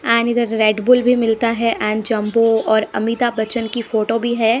And इधर Red Bull भी मिलता है एंड जंबो और अमिताभ बच्चन की फोटो भी है।